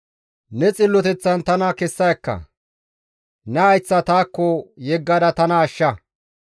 Ne xilloteththan tana kessa ekka; ne hayththa taakko yeggada tana ashsha.